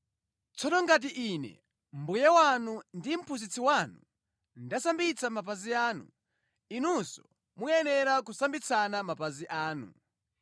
Tsono ngati Ine, Mbuye wanu ndi Mphunzitsi wanu, ndasambitsa mapazi anu, inunso muyenera kusambitsana mapazi anu.